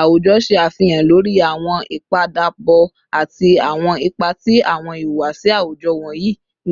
Awujọ ṣe afihan lori awọn ipadabọ ati awọn ipa ti awọn ihuwasi awujọ wọnyi